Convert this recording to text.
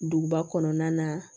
Duguba kɔnɔna na